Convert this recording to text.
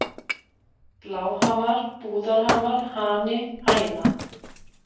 Bláhamar, Búðarhamar, Hani, Hæna